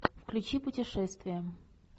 включи путешествия